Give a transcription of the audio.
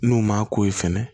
N'u m'a k'o ye fɛnɛ